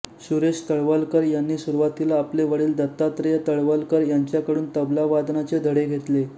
सुरेश तळवलकर यांनी सुरूवातीला आपले वडील दत्तात्रेय तळवलकर यांच्याकडून तबला वादनाचे धडे घेतले